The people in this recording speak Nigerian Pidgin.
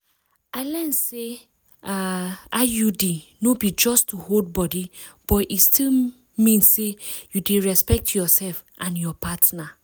i learn say iud no be just to hold body but e still mean say you dey respect yourself and your partner.